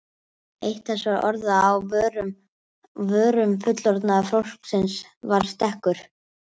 Eitt þessara orða á vörum fullorðna fólksins var stekkur.